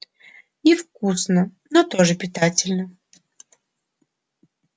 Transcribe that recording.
невкусно но тоже питательно